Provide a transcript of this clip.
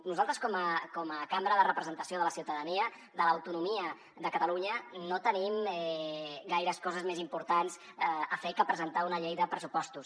nosaltres com a cambra de representació de la ciutadania de l’autonomia de catalunya no tenim gaires coses més importants a fer que presentar una llei de pressupostos